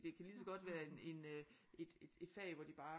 Det kan lige så godt være en en øh et fag hvor de bare